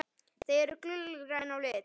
Þau eru gulgræn á lit.